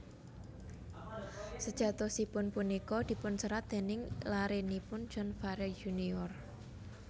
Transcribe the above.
Sejatosipun punika dipunserat déning larenipun John Farey Junior